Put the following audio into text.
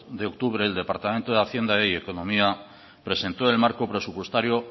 dos de octubre el departamento de hacienda y economía presentó el marco presupuestario